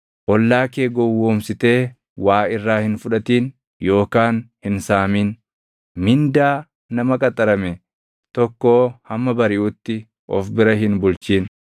“ ‘Ollaa kee gowwoomsitee waa irraa hin fudhatin yookaan hin saamin. “ ‘Mindaa nama qaxarame tokkoo hamma bariʼutti of bira hin bulchin.